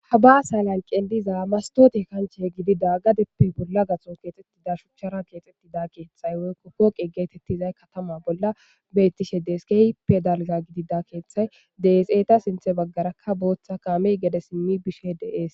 Habaasa lanqe diza mastote kanche gidida gadeppe bolla gaxon keexxetida shuchchara keexeti da keeththay woykko koqi geetettizay katama bolla bettishe deeskey pedalga gidida keeththay deeseeta sinthe baggarakka booththa kaamey gede simmi bishe deees